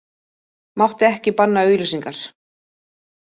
Mátti ekki banna auglýsingar